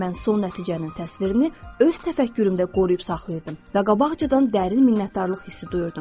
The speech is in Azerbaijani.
Mən son nəticənin təsvirini öz təfəkkürümdə qoruyub saxlayırdım və qabaqcadan dərin minnətdarlıq hissi duyurdum.